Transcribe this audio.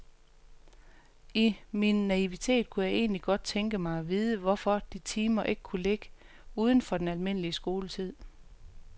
I min naivitet kunne jeg egentlig godt tænke mig at vide, hvorfor de timer ikke kunne ligge uden for den almindelige skoletid.